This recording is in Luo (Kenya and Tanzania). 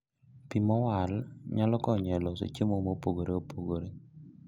Pii mowalo nyalo konyo e loso chiemo mopogoreopogore